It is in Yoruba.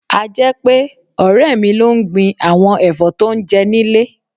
A jẹ́ pé, ọ̀rẹ́ mi ló ń gbin àwọn ẹ̀fọ́ tó ń jẹ nílé.